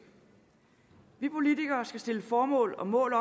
vi politikere skal stille formål og mål